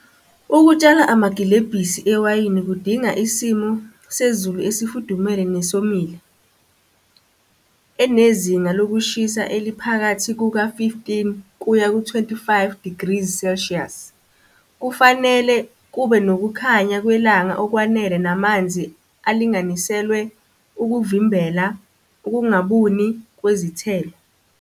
Ukutshala amagilebhisi ewayini kudinga isimo sezulu esifudumele nesomile. Enezinga lokushisa eliphakathi kuka-fifteen kuya ku-twenty-five degrees celsius. Kufanele kube nokukhanya kwelanga okwanele namanzi alinganiselwe ukuvimbela ukungabuni kwezithelo.